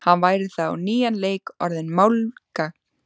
Hann væri þá á nýjan leik orðinn málgagn.